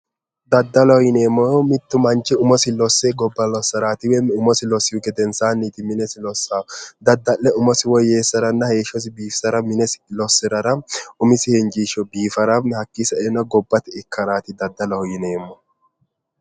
Daddalloho yineemmohu mitu manchi umosi losse gobbasirati ,umosi losihu gedensanni minesi lossanohu daddalle umosi woyyeessaranna heeshshosi woyyeessara minesi losse ,umisi injisho biifara hakkinni saenna gobbate ikkarati daddalloho yineemmohu